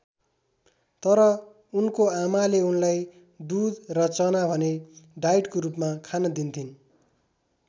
तर उनको आमाले उनलाई दुध र चना भने डाइटको रूपमा खान दिन्थिन्।